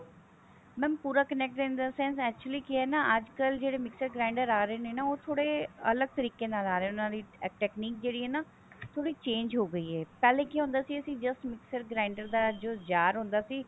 mam ਪੂਰਾ connect in the sense actually ਕੀ ਹੈ ਨਾ ਅੱਜਕਲ ਜਿਹੜੇ mixer grinder ਆ ਰਹੇ ਨੇ ਉਹ ਥੋੜੇ ਅਲੱਗ ਤਰੀਕੇ ਨਾਲ ਆ ਰਿਹਾ technique ਜਿਹੜੀ ਹੈ ਨਾ ਥੋੜੀ change ਹੋਗੀ ਹੈ ਪਹਿਲੇ ਕੀ ਹੁੰਦਾ ਸੀ ਅਸੀਂ just mixer grinder ਜਾ ਜੋ jar ਹੁੰਦਾ ਸੀ